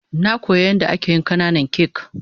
Na koya yan da ake yin kananan kak.